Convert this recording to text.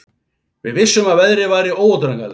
Við vissum að veðrið væri óútreiknanlegt